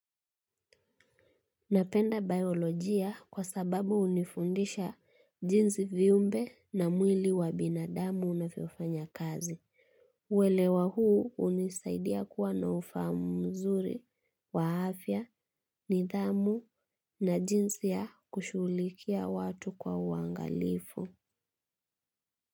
Napenda biolojia kwa sababu hunifundisha jinsi viumbe na mwili wa binadamu unavyofanya kazi. Uelewa huu hunisaidia kuwa na ufahamu mzuri wa afya nidhamu na jinsi ya kushugulikia watu kwa uangalifu.